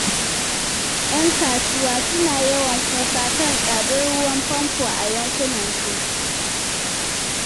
‘Yan kasuwa suna yawan kuka kan tsadar ruwan famfo a yankunansu.